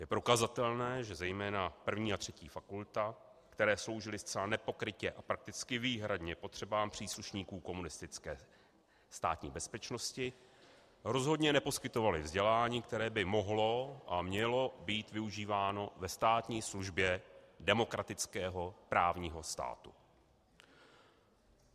Je prokazatelné, že zejména první a třetí fakulta, které sloužily zcela nepokrytě a prakticky výhradně potřebám příslušníků komunistické Státní bezpečnosti, rozhodně neposkytovaly vzdělání, které by mohlo a mělo být využíváno ve státní službě demokratického právního státu.